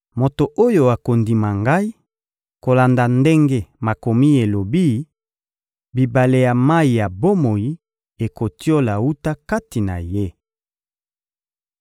Moto oyo akondima Ngai, kolanda ndenge Makomi elobi, bibale ya mayi ya bomoi ekotiola wuta kati na ye.